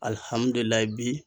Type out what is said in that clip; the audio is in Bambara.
bi.